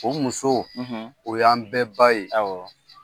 O musow, o y'an bɛɛ ba ye, awɔ.